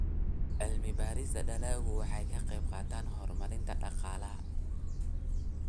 Cilmi-baarista dalaggu waxay ka qaybqaadataa horumarinta dhaqaalaha.